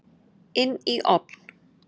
Inn í ofn.